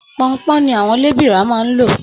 Ponpon ni àwọn lebira máa n lò.